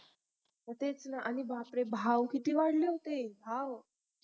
तेच न आणि बापरे भाव किती वाढले होते भाव